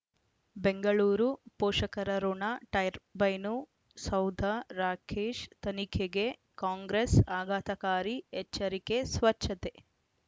ಬೆಂಗಳೂರು ಪೋಷಕರಋಣ ಟರ್ಬೈನು ಸೌಧ ರಾಕೇಶ್ ತನಿಖೆಗೆ ಕಾಂಗ್ರೆಸ್ ಆಘಾತಕಾರಿ ಎಚ್ಚರಿಕೆ ಸ್ವಚ್ಛತೆ